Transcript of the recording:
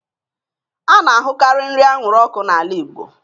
A na-ahụkarị nri anwụrụ ọkụ n'ala Igbo